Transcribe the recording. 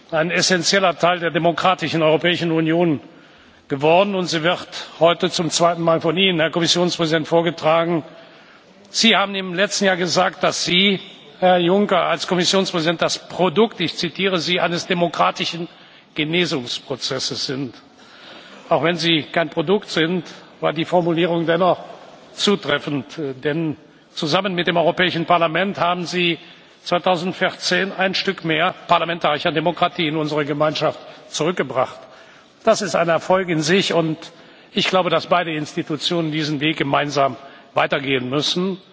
ein essenzieller Teil der demokratischen Europäischen Union geworden, und sie wird heute zum zweiten Mal von Ihnen, Herr Kommissionspräsident, vorgetragen. Sie haben im letzten Jahr gesagt, dass Sie, Herr Juncker, als Kommissionspräsident das Produkt ich zitiere Sie eines demokratischen Genesungsprozesses sind. Auch wenn Sie kein Produkt sind, war die Formulierung dennoch zutreffend. Denn zusammen mit dem Europäischen Parlament haben Sie 2014 ein Stück mehr parlamentarische Demokratie in unsere Gemeinschaft zurückgebracht. Das ist ein Erfolg für sich, und ich glaube, dass beide Institutionen diesen Weg gemeinsam weitergehen müssen.